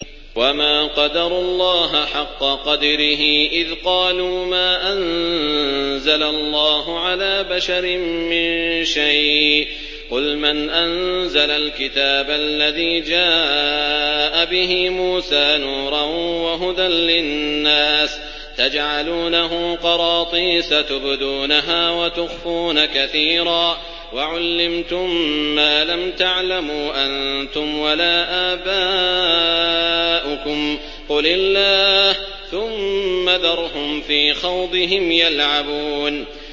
وَمَا قَدَرُوا اللَّهَ حَقَّ قَدْرِهِ إِذْ قَالُوا مَا أَنزَلَ اللَّهُ عَلَىٰ بَشَرٍ مِّن شَيْءٍ ۗ قُلْ مَنْ أَنزَلَ الْكِتَابَ الَّذِي جَاءَ بِهِ مُوسَىٰ نُورًا وَهُدًى لِّلنَّاسِ ۖ تَجْعَلُونَهُ قَرَاطِيسَ تُبْدُونَهَا وَتُخْفُونَ كَثِيرًا ۖ وَعُلِّمْتُم مَّا لَمْ تَعْلَمُوا أَنتُمْ وَلَا آبَاؤُكُمْ ۖ قُلِ اللَّهُ ۖ ثُمَّ ذَرْهُمْ فِي خَوْضِهِمْ يَلْعَبُونَ